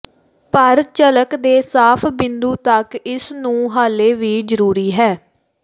ਪਰ ਝਲਕ ਦੇ ਸਾਫ਼ ਬਿੰਦੂ ਤੱਕ ਇਸ ਨੂੰ ਹਾਲੇ ਵੀ ਜ਼ਰੂਰੀ ਹੈ